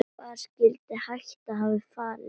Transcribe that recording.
Hvar skyldi hættan hafa falist?